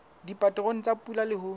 dipaterone tsa pula le ho